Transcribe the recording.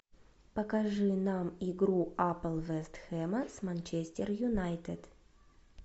покажи нам игру апл вест хэма с манчестер юнайтед